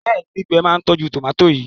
béèni gbígbé má tọjú tomati yí.